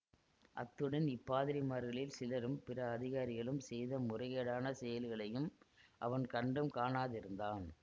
அத்துடன் இப்பாதிரிமார்களில் சிலரும் பிற அதிகாரிகளும் செய்த முறை கேடான செயல்களையும் அவன் கண்டும் காணாதிருந்தான்